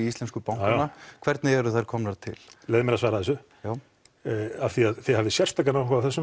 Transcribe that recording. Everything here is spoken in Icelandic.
íslensku bankanna hvernig eru þær komnar til leyfðu mér að svara þessu já af því að þið hafið sérstakan áhuga á þessu